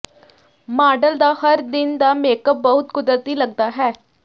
model ਦਾ ਹਰ ਦਿਨ ਦਾ ਮੇਕਅੱਪ ਬਹੁਤ ਕੁਦਰਤੀ ਲੱਗਦਾ ਹੈ